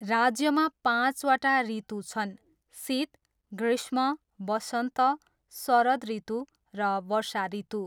राज्यमा पाँचवटा ऋतु छन्, शीत, ग्रीष्म, वसन्त, शरद ऋतु र वर्षा ऋतु।